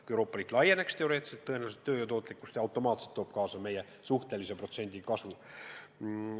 Kui Euroopa Liit laieneks, siis tööjõu tootlikkuse osas tooks see automaatselt kaasa meie suhtelise protsendi kasvu.